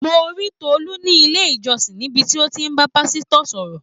Mo rí Tolu ní ilé-ìjọsìn, níbi tí ó ti ń bá pásítọ̀ sọ̀rọ̀.